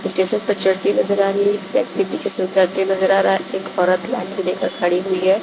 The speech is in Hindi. स्टेशन पे चढ़ती नजर आ रही हैं एक व्यक्ति पीछे से उतरते नजर आ रहा हैं एक औरत लाठी लेकर खड़ी हुई हैं।